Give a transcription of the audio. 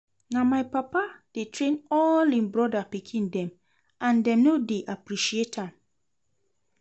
Na my papa dey train all im brother pikin dem and dem no dey appreciate am